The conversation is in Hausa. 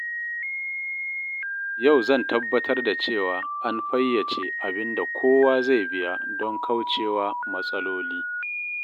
Yau zan tabbatar da cewa an fayyace abin da kowa zai biya don kauce wa matsaloli.